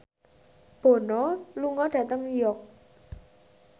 Bono lunga dhateng York